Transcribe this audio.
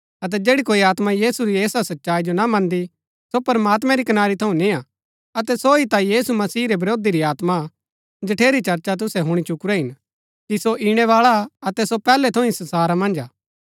अतै जैड़ी कोई आत्मा यीशु री ऐसा सच्चाई जो ना मन्दी सो प्रमात्मैं री कनारी थऊँ निआं अतै सो ही ता यीशु मसीह रै विरोधी री आत्मा जठेरी चर्चा तुसै हुणी चुकुरै हिन कि सो ईणैबाळा अतै सो पैहलै थऊँ ही संसारा मन्ज हा